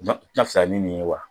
tɛna fisa ni nin ye wa